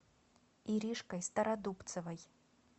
иришкой стародубцевой